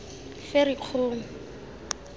ferikgong